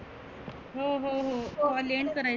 हम्म हम्म हम्म त्याला end करायचं.